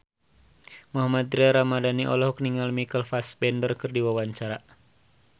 Mohammad Tria Ramadhani olohok ningali Michael Fassbender keur diwawancara